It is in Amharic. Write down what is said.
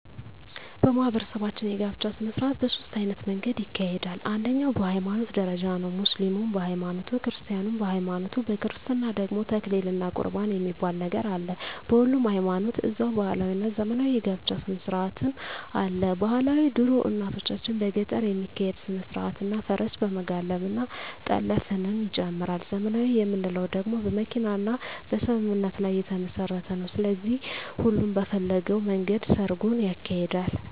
በማህበረሰባችን የጋብቻ ሰነስርአት በ ሶስት አይነት መንገድ ይካሄዳል አንደኛዉ በ ሀይማኖት ደረጃ ነዉ ሙስሊምም በ ሀይማኖቱ ክርስቲያንም በሀይማኖቱ በክርስትና ደግሞ ተክሊል እና ቁርባን የሚባል ነገር አለ በሁሉም ሀይማኖት ደዛዉ ባህላዊ እና ዘመናዊ የ ጋብቻ ስነስርአትም አለ ...ባህላዊ ድሮ እናቶቻችን በገጠር የሚካሄድ ስነስርአት እና ፈረስ በመጋለብ እና ጠለፍንም ይጨምራል .........ዘመናዊ የምንለዉ ደግሞ በመኪና እና በስምምነት ላይ የተመስረተ ነዉ ስለዚህ ሁሉም በፈለገዉ መንገድ ሰርጉን ያካሂዳል።